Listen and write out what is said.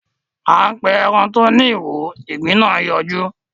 A pé èràn tó ní ìwo ìgbín nà yọjú.